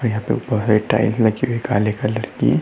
काले कलर की।